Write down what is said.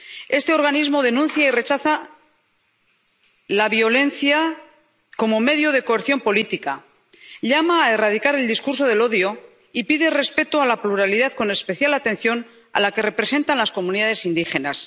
Este organismo denuncia y rechaza la violencia como medio de coerción política, llama a erradicar el discurso del odio y pide respeto a la pluralidad, con especial atención a la que representan las comunidades indígenas.